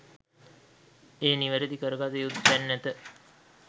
ඒ නිවැරදි කරගත යුතු තැන් ඇත.